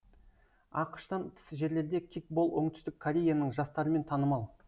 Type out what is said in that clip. ақш тан тыс жерлерде кикбол оңтүстік кореяның жастарымен танымал